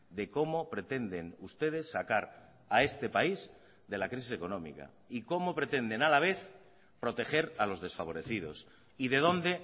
de cómo pretenden ustedes sacar a este país de la crisis económica y cómo pretenden a la vez proteger a los desfavorecidos y de dónde